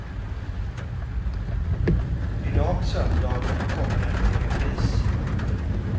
Idag söndag kommer den i repris.